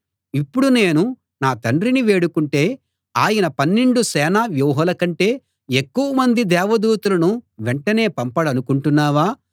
ఇప్పుడు నేను నా తండ్రిని వేడుకుంటే ఆయన పన్నెండు సేనా వ్యూహాలకంటే ఎక్కువ మంది దేవదూతలను వెంటనే పంపడనుకుంటున్నావా